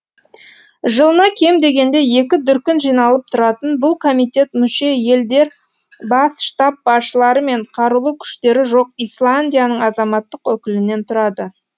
жылына кем дегенде екі дүркін жиналып тұратын бұл комитет мүше елдер бас штаб басшылары мен қарулы күштері жоқ исландияның азаматтық өкілінен тұрады